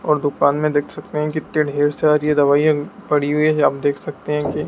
और दुकान में देख सकते हैं कितनी ढेर सारी दवाईयां भी पड़ी हुई है आप देख सकते हैं कि--